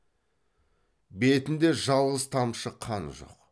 бетінде жалғыз тамшы қан жоқ